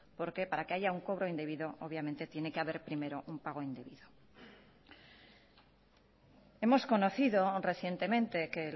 porque para que haya un cobro indebido obviamente tiene que haber primero un pago indebido hemos conocido recientemente que